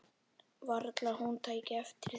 Varla hún tæki eftir því.